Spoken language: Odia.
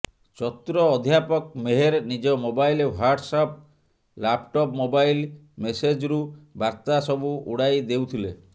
ଚତୁର ଅଧ୍ୟାପକ ମେହେର ନିଜ mobile WhatsApp laptop mobile ମେସେଜ୍ରୁ ବାର୍ତ୍ତା ସବୁ ଉଡ଼ାଇ ଦେଉଥିଲେ